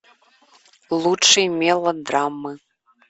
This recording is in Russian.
лучшие мелодрамы